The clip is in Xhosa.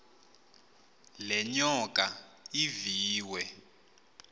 le nyoka iviwe